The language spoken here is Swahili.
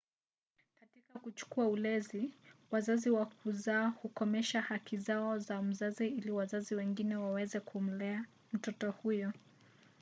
katika kuchukua ulezi wazazi wa kuzaa hukomesha haki zao za mzazi ili wazazi wengine waweze kumlea mtoto huyo